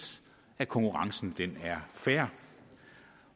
at konkurrencen er fair